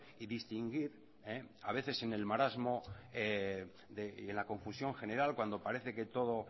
y distinguir a veces en el marasmo y en la confusión general cuando parece que todo